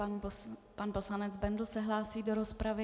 Pan poslanec Bendl se hlásí do rozpravy.